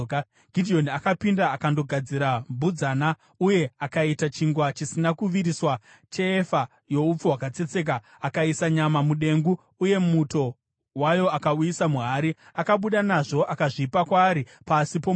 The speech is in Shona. Gidheoni akapinda, akandogadzira mbudzana, uye akaita chingwa chisina kuviriswa cheefa youpfu hwakatsetseka. Akaisa nyama mudengu uye muto wayo akauisa muhari, akabuda nazvo akazvipa kwaari pasi pomuouki.